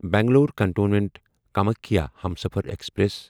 Bangalore cantonment Kamakhya Humsafar express